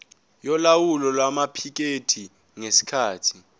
yolawulo lwamaphikethi ngesikhathi